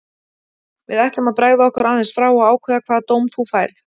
Við ætlum að bregða okkur aðeins frá og ákveða hvaða dóm þú færð.